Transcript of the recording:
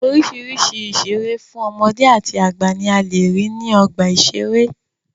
Oríṣìíríṣìí ohun ìṣere fún ọmọdé àti àgbà ní a lè rí ní ọgbà ìṣẹré.